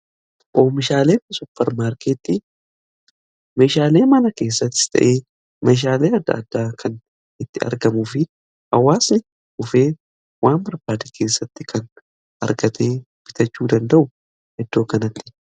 Oomishaalee supparmaarkeetti meshaalee mana keessatti ta'ee meshaalee adda addaa kan itti argamu fi hawwaasni ufee waan barbaade keessatti kan argatee bitachuu danda'u eddoo kanatti.